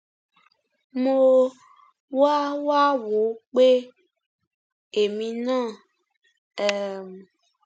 mo wá wá wò ó pé èmi náà um